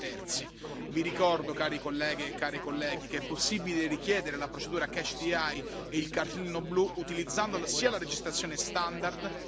che è possibile richiedere la procedura catch the eye e il cartellino blu utilizzando sia la registrazione standard sia il sistema elettronico direttamente dalle vostre postazioni.